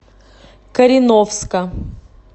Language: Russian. кореновска